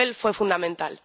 Su papel fue fundamental.